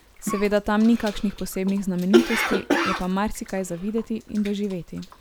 Seveda tam ni kakšnih posebnih znamenitosti, je pa marsikaj za videti in doživeti.